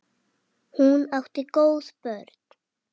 Hún átti góð börn.